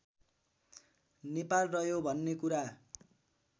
नेपाल रह्यो भन्ने कुरा